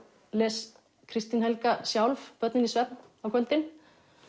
les Kristín Helga sjálf börnin í svefn á kvöldin